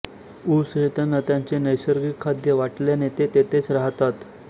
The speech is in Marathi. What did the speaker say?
ऊस हे त्याना त्यांचे नैसर्गिक खाद्य वाटल्याने ते तेथेच राहतात